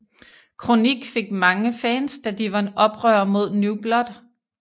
KroniK fik mange fans da de var oprørere mod New Blood